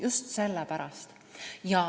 Just sellepärast.